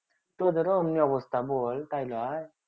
তোদেরো অমনি অবস্থা বল তাই লই